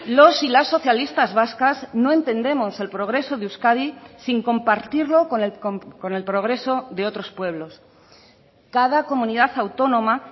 los y las socialistas vascas no entendemos el progreso de euskadi sin compartirlo con el progreso de otros pueblos cada comunidad autónoma